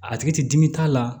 A tigi ti dimi t'a la